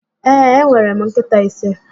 Ee, enwere m nkịta ise.